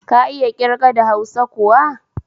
Ka iya ƙirga da hausa kuwa